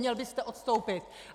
Měl byste odstoupit.